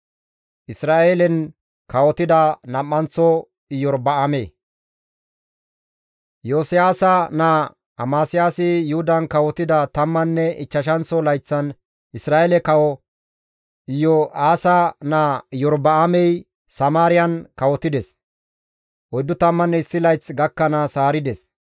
Iyosiyaasa naa Amasiyaasi Yuhudan kawotida tammanne ichchashanththo layththan Isra7eele kawo Yo7aasa naa Iyorba7aamey Samaariyan kawotides; 41 layth gakkanaas haarides.